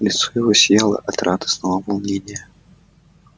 лицо его сияло от радостного волнения